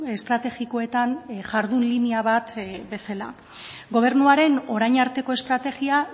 estrategikoetan jardun linea bat bezala gobernuaren orain arteko estrategia